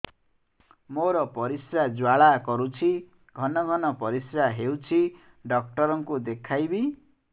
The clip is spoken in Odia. ମୋର ପରିଶ୍ରା ଜ୍ୱାଳା କରୁଛି ଘନ ଘନ ପରିଶ୍ରା ହେଉଛି ଡକ୍ଟର କୁ ଦେଖାଇବି